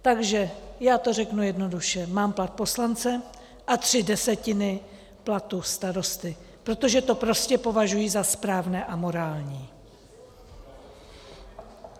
Takže já to řeknu jednoduše: mám plat poslance a tři desetiny platu starosty, protože to prostě považují za správné a morální.